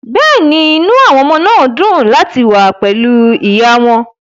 Bẹ́ẹ̀ ni, inú àwọn ọmọ dùn láti wà pẹ̀lú ìyá wọn